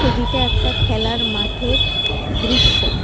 একটা খেলার মাঠের দৃশ্য।